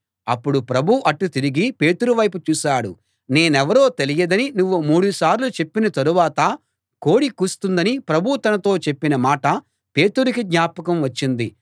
అప్పుడు ప్రభువు అటు తిరిగి పేతురు వైపు చూశాడు నేనెవరో తెలియదని నువ్వు మూడుసార్లు చెప్పిన తరువాత కోడి కూస్తుందని ప్రభువు తనతో చెప్పిన మాట పేతురుకి జ్ఞాపకం వచ్చింది